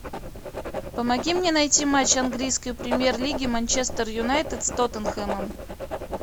помоги мне найти матч английской премьер лиги манчестер юнайтед с тоттенхэмом